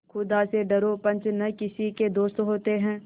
खुदा से डरो पंच न किसी के दोस्त होते हैं